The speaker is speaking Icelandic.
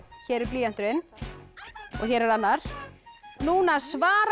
hér er blýanturinn og hér er annar núna svara